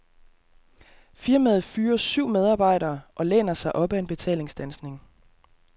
Firmaet fyrer syv medarbejdere og læner sig op af en betalingsstandsning.